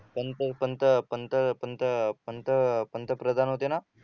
पंत पंत पंत पंत पंत पंतप्रधान होते ना